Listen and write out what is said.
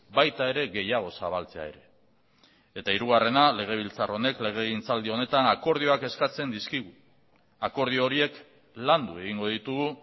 baita ere gehiago zabaltzea ere eta hirugarrena legebiltzar honek legegintzaldi honetan akordioak eskatzen dizkigu akordio horiek landu egingo ditugu